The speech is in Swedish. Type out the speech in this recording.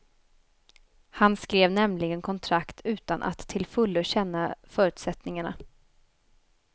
Han skrev nämligen kontrakt utan att till fullo känna förutsättningarna.